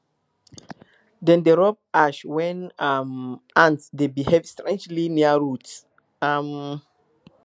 dem dey rub ash when um ants dey behave strangely near roots um